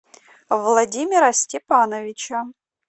владимира степановича